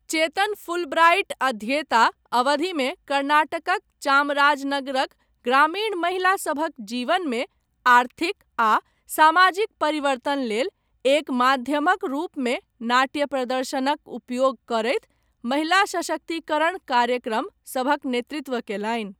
चेतन Fulbright अध्येता अवधिमे कर्नाटकक चामराजनगरक ग्रामीण महिला सभक जीवनमे आर्थिक आ सामाजिक परिवर्तन लेल एक माध्यमक रूपमे नाट्य प्रदर्शनक उपयोग करैत महिला सशक्तिकरण कार्यक्रम सभक नेतृत्व कयलनि।